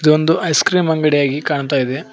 ಇದೊಂದು ice cream ಅಂಗಡಿಯಾಗಿ ಕಾಣ್ತಾಯಿದೆ.